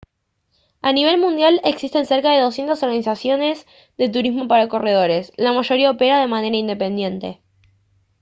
a nivel mundial existen cerca de 200 organizaciones de turismo para corredores la mayoría opera de manera independiente